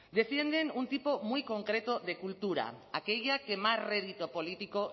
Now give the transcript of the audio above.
defienden un tipo muy concreto de cultura aquella que más rédito político